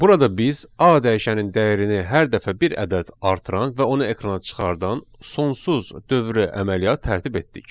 Burada biz A dəyişənin dəyərini hər dəfə bir ədəd artıran və onu ekrana çıxardan sonsuz dövrü əməliyyat tərtib etdik.